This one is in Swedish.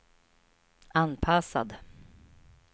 anpassad